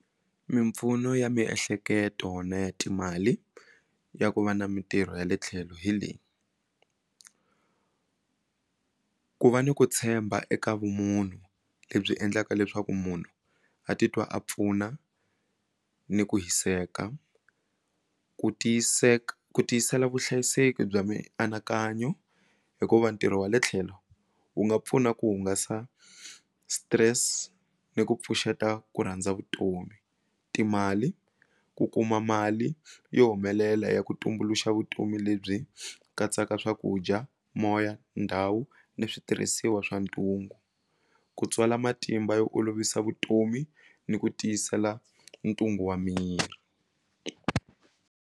Mimpfuno ya miehleketo na ya timali ya ku va na mitirho ya le tlhelo hi leyi ku va ni ku tshemba eka vumunhu lebyi endlaka leswaku munhu a titwa a pfuna ni ku hiseka ku ku tiyisela vuhlayiseki bya mianakanyo hikuva ntirho wa le tlhelo wu nga pfuna ku hungasa stress ni ku pfuxeta ku rhandza vutomi timali ku kuma mali yo humelela ya ku tumbuluxa vutomi lebyi katsaka swakudya moya ndhawu ni switirhisiwa swa ntungu ku tswala matimba yo olovisa vutomi ni ku tiyisela ntungu wa miri.